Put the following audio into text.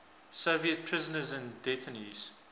soviet prisoners and detainees